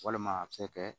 Walima a cɛ kɛ